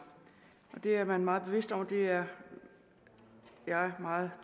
det er man meget bevidst om og det er jeg meget